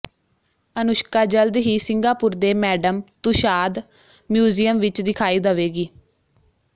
ਅਨੁਸ਼ਕਾ ਜਲਦ ਹੀ ਸਿੰਗਾਪੁਰ ਦੇ ਮੈਡਮ ਤੁਸ਼ਾਦ ਮਿਊਜ਼ਿਅਮ ਵਿੱਚ ਦਿਖਾਈ ਦਵੇਗੀ